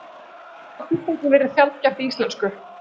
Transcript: Þetta orðatiltæki virðist sjaldgæft í íslensku.